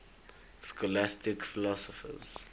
scholastic philosophers